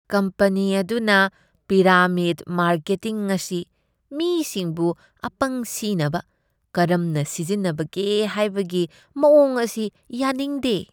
Company ꯑꯗꯨꯅ ꯄꯤꯔꯥꯃꯤꯗ marketing ꯑꯁꯤ ꯃꯤꯁꯤꯡꯕꯨ ꯑꯄꯪ ꯁꯤꯅꯕ ꯀꯔꯝꯅ ꯁꯤꯖꯤꯟꯅꯕꯒꯦ ꯍꯥꯏꯕꯒꯤ ꯃꯋꯣꯡ ꯑꯁꯤ ꯌꯥꯅꯤꯡꯗꯦ ꯫